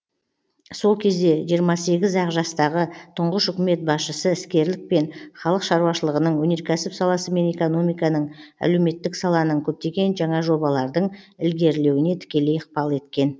сол кезде жиырма сегіз ақ жастағы тұңғыш үкімет басшысы іскерлікпен халық шаруашылығының өнеркәсіп саласы мен экономиканың әлеуметтік саланың көптеген жаңа жобалардың ілгерлеуіне тікелей ықпал еткен